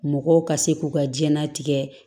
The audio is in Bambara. Mɔgɔw ka se k'u ka jɛnnatigɛ